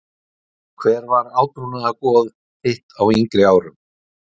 Hver var átrúnaðargoð þitt á yngri árum?